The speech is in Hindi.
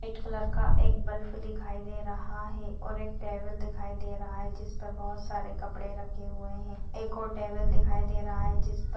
व्हाइट कलर का एक बल्ब दिखाई दे रहा है और एक टेबल दिखाई दे रहा है जिस पर बहुत सारे कपड़े रखे हुए है एक और टेबल दिखाई दे रहा है जिस पर--